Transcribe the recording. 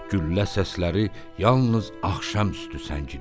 Güllə səsləri yalnız axşamüstü səngidi.